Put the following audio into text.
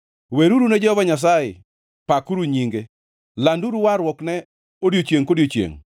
Weruru ne Jehova Nyasaye, pakuru nyinge; landuru warruokne odiechiengʼ kodiechiengʼ.